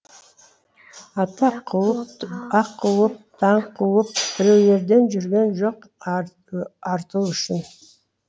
атақ қуып бақ қуып даңқ қуып біреулерден жүргем жоқ арту үшін